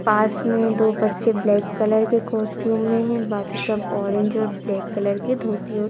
पास में दो बच्चे ब्लैक कलर के कॉस्ट्यूम में है बाकी सब ऑरेंज और ब्लैक कलर के धोतियो--